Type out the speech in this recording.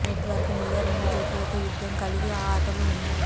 network మీద రెండు జట్లు ఒక యుద్ధం కలిగి ఆ ఆటలు ఉన్నాయి